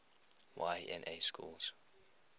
y na schools